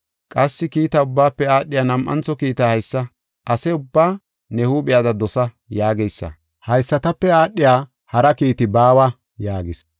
Qassi kiita ubbaafe aadhiya nam7antho kiitay haysa; ‘Ase ubbaa ne huuphiyada dosa’ yaageysa; haysatape aadhiya hara kiiti baawa” yaagis.